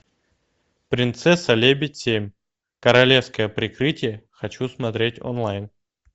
принцесса лебедь семь королевское прикрытие хочу смотреть онлайн